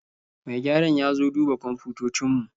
Mai gyaran ya zo duba kwamfutocin mu